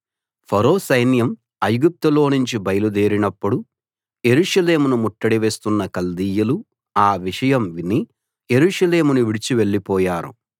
ఫరో సైన్యం ఐగుప్తులోనుంచి బయలుదేరినప్పుడు యెరూషలేమును ముట్టడి వేస్తున్న కల్దీయులు ఆ విషయం విని యెరూషలేమును విడిచి వెళ్ళిపోయారు